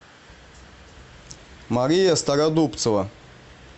мария стародубцева